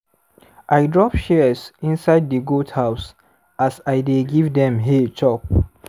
i drop shears inside di goat house as i dey give dem hay chop.